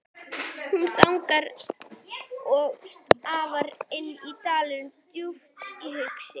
Hún þagnar og starir inn dalinn, djúpt hugsi.